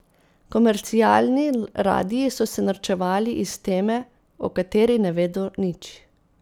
Komercialni radiji so se norčevali iz teme, o kateri ne vedo nič.